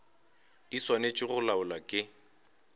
di swanetše go laolwa ke